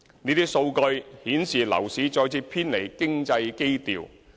這些數據顯示樓市再次偏離經濟基調。